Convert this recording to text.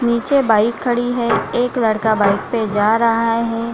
नीचे बाइक खड़ी है एक लड़का बाइक पे जा रहा है।